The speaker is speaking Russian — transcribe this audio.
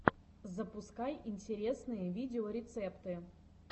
запускай интересные видеорецепты